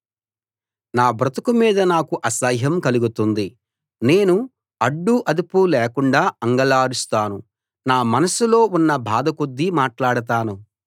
నా బ్రతుకు మీద నాకు అసహ్యం కలుగుతుంతోంది నేను అడ్డూ అదుపూ లేకుండా అంగలారుస్తాను నా మనసులో ఉన్న బాధ కొద్దీ మాట్లాడతాను